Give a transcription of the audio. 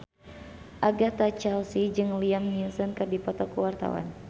Agatha Chelsea jeung Liam Neeson keur dipoto ku wartawan